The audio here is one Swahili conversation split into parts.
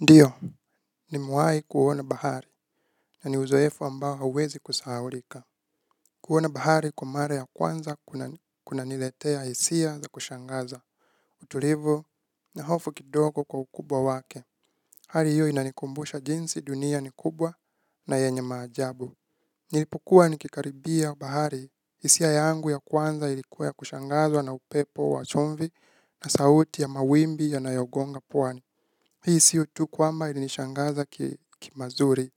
Ndio, nimewahi kuona bahari, na ni uzoefu ambao hauwezi kusahaulika. Kuona bahari kwa mara ya kwanza kunaniletea hisia za kushangaza. Utulivu na hofu kidogo kwa ukubwa wake. Hali hiyo inanikumbusha jinsi dunia ni kubwa na yenye maajabu. Nilipokuwa nikikaribia bahari, hisia yangu ya kwanza ilikuwa ya kushangazwa na upepo wa chumvi na sauti ya mawimbi yanayogonga pwani. Hii sio tu kwamba ilinishangaza ki mazuri.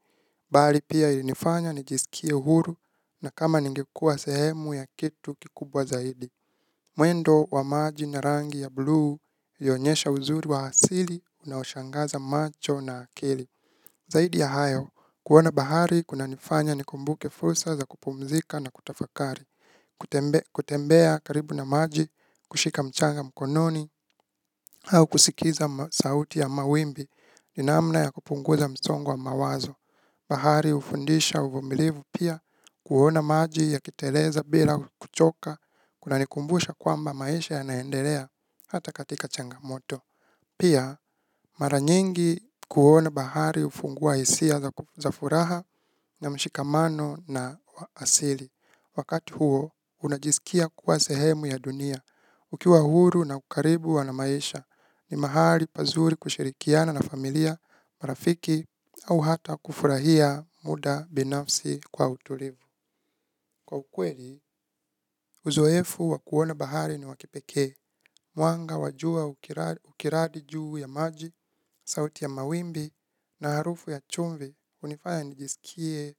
Bali pia ilinifanya nijisikie huru na kama ningekuwa sehemu ya kitu kikubwa zaidi. Mwendo wa maji na rangi ya blue huonyesha uzuri wa asili unaoshangaza macho na akili. Zaidi ya hayo, kuona bahari kunanifanya nikumbuke fursa za kupumzika na kutafakari. Kutembea karibu na maji, kushika mchanga mkononi, au kusikiza sauti ya mawimbi. Ni namna ya kupunguza msongo wa mawazo. Bahari hufundisha uvumilivu pia. Kuona maji yakiteleza bila kuchoka kunanikumbusha kwamba maesha yanaendelea hata katika changamoto. Pia mara nyingi kuona bahari hufungua isia za furaha. Na mshikamano na wa asili wakati huo unajisikia kuwa sehemu ya dunia ukiwa huru na ukaribu wa maisha ni mahali pazuri kushirikiana na familia. Marafiki au hata kufurahia muda binafsi kwa utulivu. Kwa ukweli, uzoefu wa kuona bahari ni wa kipekee. Mwanga wa jua ukiradi juu ya maji, sauti ya mawimbi na harufu ya chumvi hUnifanya nijisikie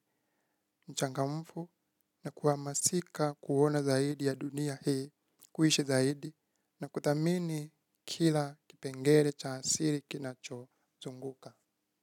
mchangamfu na kuhamasika kuona zaidi ya dunia hii. Kuishi zaidi na kuthamini kila kipengele cha siri kinacho zunguka.